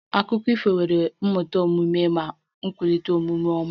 Akụkọ ifo nwere ihe mmụta omume ma kwalite omume ọma